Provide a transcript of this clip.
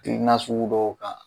Kil nasugu dɔw ka